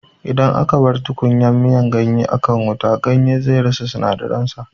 Idan aka bar tukunyar miyan ganye ta jima a kan wuta, ganye zai rasa sinadaran sa